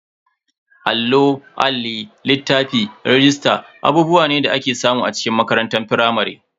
Allo, Alli, littafi, rajista abubuwa ne da ake samu a cikin makarantar firamare.